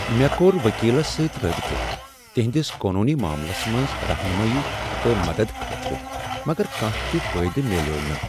مےٚ کوٚر وکیلس سۭتۍ رٲبطہٕ، تہنٛدس قونوٗنی معاملس منٛز رہنمٲیی تہٕ مدتہٕ خٲطرٕ، مگر کانٛہہ تہ فایدٕ میلیو نہٕ۔